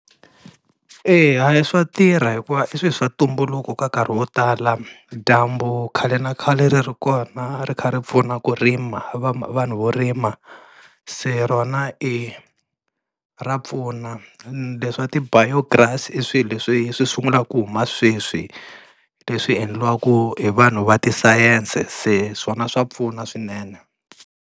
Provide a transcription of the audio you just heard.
Eya hayi swa tirha hikuva i swilo swa ntumbuluko ka nkarhi wo tala, dyambu khale na khale ri ri kona ri kha ri pfuna ku rima vanhu vo rima se rona e ra pfuna. Leswa ti-biograss i swilo leswi swi sungulaka ku huma sweswi leswi endliwaka hi vanhu va ti-science se swona swa pfuna swinene.